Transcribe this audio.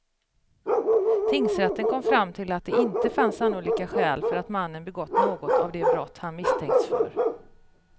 Tingsrätten kom fram till att det inte fanns sannolika skäl för att mannen begått något av de brott han misstänkts för.